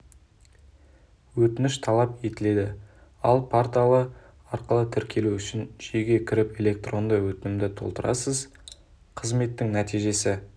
өтініш талап етіледі ал порталы арқылы тіркелу үшін жүйеге кіріп электронды өтінімді толтырасыз қызметтің нәтижесі